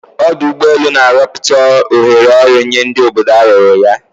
Ọdụ ụgbọ elu na-arọpụta ohere ọrụ nye ndi obodo arụrụ ha.